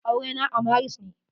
Aure na a maris ne.